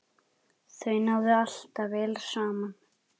Þau náðu alltaf vel saman.